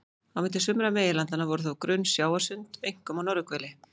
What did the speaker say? Á milli sumra meginlandanna voru þó grunn sjávarsund, einkum á norðurhveli.